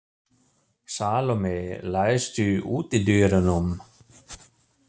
Salome, læstu útidyrunum.